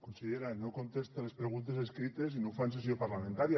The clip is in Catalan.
consellera no contesta a les preguntes escrites i no ho fa en sessió parlamentària